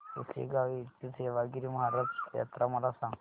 पुसेगांव येथील सेवागीरी महाराज यात्रा मला सांग